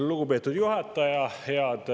Lugupeetud juhataja!